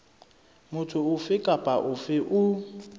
motho ofe kapa ofe o